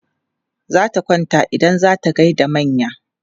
Zata kwanta idan za ta gai da manya.